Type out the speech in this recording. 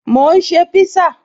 Mò ń ṣe pízá